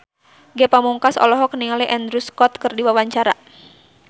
Ge Pamungkas olohok ningali Andrew Scott keur diwawancara